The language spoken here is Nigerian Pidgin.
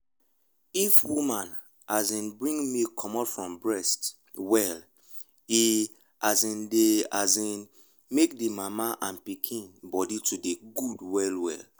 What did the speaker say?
if woman dey um bring milk comot from breast well e um dey um make the mama and pikin body to dey good well well.